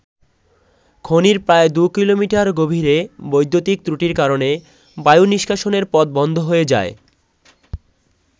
খনির প্রায় দু কিলোমিটার গভীরে বৈদ্যুতিক ত্রুটির কারণে বায়ু নিষ্কাশনের পথ বন্ধ হয়ে যায়।